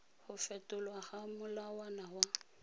go fetolwa ga molawana wa